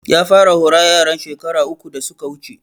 Ya fara hora yaran shekaru uku da suka wuce